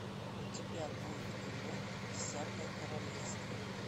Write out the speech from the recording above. у тебя будет кино десятое королевство